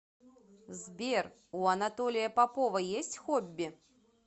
сбер у анатолия попова есть хобби